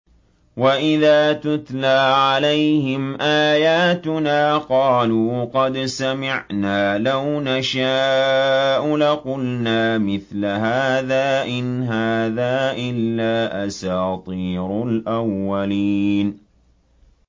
وَإِذَا تُتْلَىٰ عَلَيْهِمْ آيَاتُنَا قَالُوا قَدْ سَمِعْنَا لَوْ نَشَاءُ لَقُلْنَا مِثْلَ هَٰذَا ۙ إِنْ هَٰذَا إِلَّا أَسَاطِيرُ الْأَوَّلِينَ